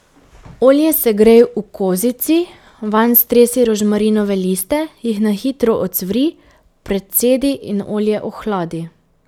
Olje segrej v kozici, vanj stresi rožmarinove liste, jih na hitro ocvri, precedi in olje ohladi.